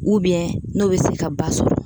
n'o bɛ se ka ba sɔrɔ